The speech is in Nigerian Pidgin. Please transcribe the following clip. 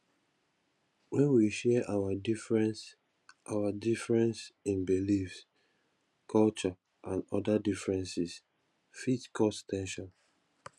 when we share our difference our difference in beliefs culture and oda differences fit cause ten sion